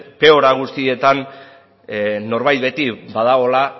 teora guztietan norbait beti badagoela